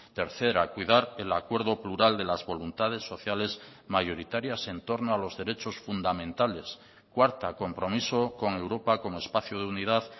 tercera cuidar el acuerdo plural de las voluntades sociales mayoritarias entorno a los derechos fundamentales cuarta compromiso con europa como espacio de unidad